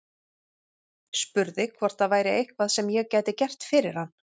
Spurði hvort það væri eitthvað sem ég gæti gert fyrir hann.